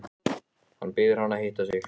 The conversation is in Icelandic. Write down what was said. Hann biður hana að hitta sig.